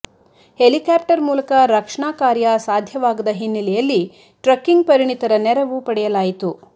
helicopter ಮೂಲಕ ರಕ್ಷಣಾ ಕಾರ್ಯ ಸಾಧ್ಯವಾಗದ ಹಿನ್ನೆಲೆಯಲ್ಲಿ ಟ್ರಕ್ಕಿಂಗ್ ಪರಿಣಿತರ ನೆರವು ಪಡೆಯಲಾಯಿತು